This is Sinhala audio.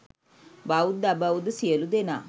බෞද්ධ අබෞද්ධ සියලු දෙනා